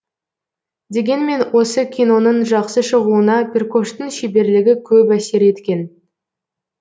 дегенмен осы киноның жақсы шығуына перкоштың шеберлігі көп әсер еткен